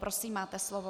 Prosím, máte slovo.